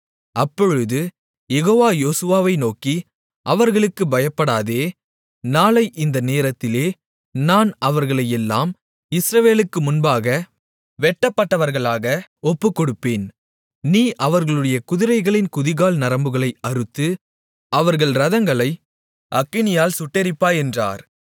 அப்பொழுது யெகோவா யோசுவாவை நோக்கி அவர்களுக்குப் பயப்படாதே நாளை இந்த நேரத்திலே நான் அவர்களையெல்லாம் இஸ்ரவேலுக்கு முன்பாக வெட்டப்பட்டவர்களாக ஒப்புக்கொடுப்பேன் நீ அவர்களுடைய குதிரைகளின் குதிகால் நரம்புகளை அறுத்து அவர்கள் இரதங்களை அக்கினியால் சுட்டெரிப்பாய் என்றார்